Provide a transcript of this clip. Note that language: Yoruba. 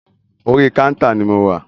Orí kántà ni mo wà.